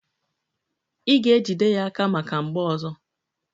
Ị ga-ejide aka ya maka mgbọ ọzọ!